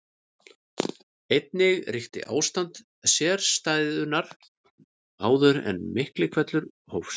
Einnig ríkti ástand sérstæðunnar áður en Miklihvellur hófst.